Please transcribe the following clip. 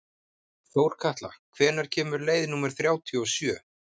Þórkatla, hvenær kemur leið númer þrjátíu og sjö?